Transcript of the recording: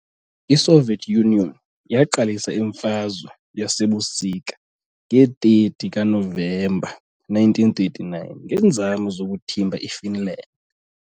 ISoviet Union yaqalisa iMfazwe yaseBusika nge-30 kaNovemba 1939 ngeenzame zokuthimba iFinland.